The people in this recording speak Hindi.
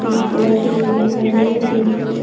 पिंक कलर की रिबन दिखाई दे रही हैं। पिंक --